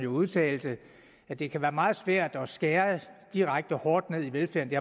udtalte at det kan være meget svært at skære direkte hårdt ned i velfærden